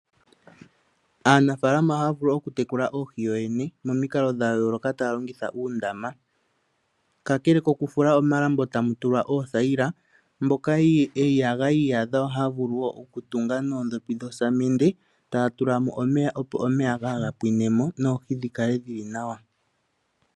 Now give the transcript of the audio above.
Aanafalama ohaya vulu okutekula oohi kuyo yene momikalo dha yooloka taya longitha uundama. Kakele kokufula omalambo tamu tulwa oothayila, mboka ya iyadha ohaya vulu wo okutunga noodhopi dhosamende, taya tula mo omeya opo omeya kaaga pwine mo, noohi dhi kale dhi li nawa.